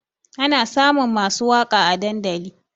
Ana samun masu waƙa a dandali